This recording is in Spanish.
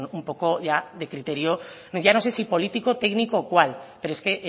pues un poco ya de criterio ya no sé si político técnico o cual pero es que